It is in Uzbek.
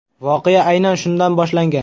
Voqea aynan shundan boshlangan.